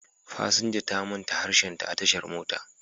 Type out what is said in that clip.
Fasinja ta manta harshenta a tashar mota